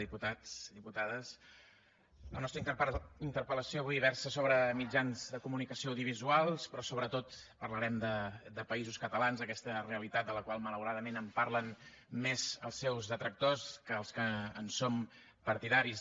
diputats i diputades la nostra interpel·lació avui versa sobre mitjans de comunicació audiovisuals però sobretot parlarem de països catalans aquesta realitat de la qual malauradament parlen més els seus detractors que els que en som partidaris